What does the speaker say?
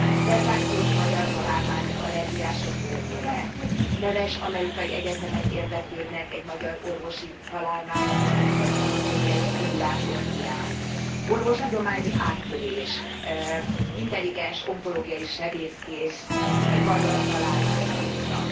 Szenzációs magyar találmány az allergiások örömére, Neves amerikai egyetemek érdeklődnek egy magyar orvosi találmány, mégpedig az anatómiai szimulátor iránt, Orvostudományi áttörés, intelligens onkológiai sebészkés egy magyar találmány útja.